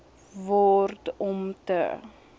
word om te